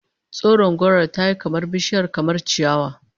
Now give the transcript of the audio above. Tsoron gora tayi kamar bishiya kamar ciyawa